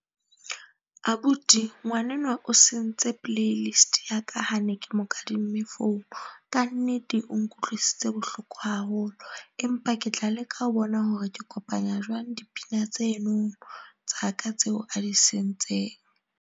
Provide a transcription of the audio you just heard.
Abuti ngwanenwa o sentse playlist ya ka ha ne ke mo kadimme phone. Ka nnete o nkutlwisitse bohloko haholo, empa ke tla leka ho bona hore ke kopanya jwang dipina tseno tsa ka tseo a di sentseng.